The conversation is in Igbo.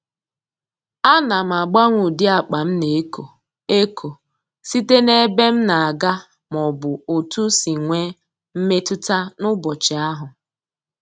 Ana m agbanwe ụdị akpa m na-eko eko site n'ebe m na-aga maọbụ otu si nwe mmetụta n'ụbọchị ahụ